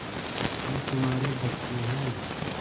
ये तुम्हारे बच्चे हैं